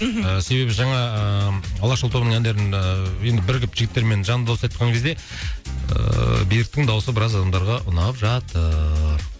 мхм себебі жаңа ыыы алашұлы тобының әндерін ііі енді бірігіп жігіттермен жанды дауыста айтқан кезде ыыы беріктің дауысы біраз адамдарға ұнап жатыр